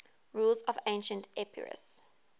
rulers of ancient epirus